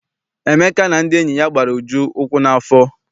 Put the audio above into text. Emeka na ndị enyi ya gbara Uju ukwu n'afọ.